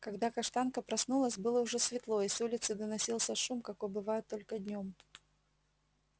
когда каштанка проснулась было уже светло и с улицы доносился шум какой бывает только днём